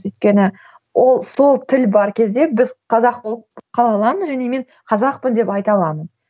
өйткені ол сол тіл бар кезде біз қазақ болып қала аламыз және мен казақпын деп айта аламын